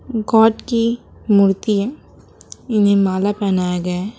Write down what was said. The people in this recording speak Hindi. गॉड की मूर्ति है इन्हें माला पहनाया गया है।